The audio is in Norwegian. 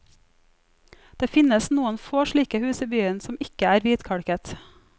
Det finnes noen få slike hus i byen som ikke er hvitkalket.